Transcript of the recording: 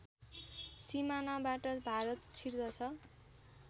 सिमानाबाट Bharat छिर्दछ